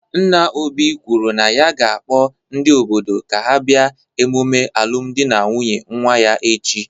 Nna Obi kwuru na ya ga-akpọ ndị obodo ka ha bịa emume alụmdi na nwunye nwa ya echi.